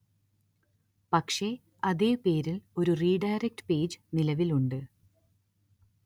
പക്ഷെ അതേ പേരില്‍ ഒരു റീഡയറക്ട് പേജ് നിലവില്‍ ഉണ്ട്